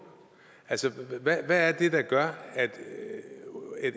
hvad er det der gør at